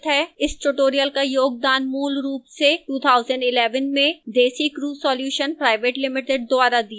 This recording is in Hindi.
इस tutorial का योगदान मूलरूप से 2011 में desicrew solutions pvt ltd द्वारा दिया गया था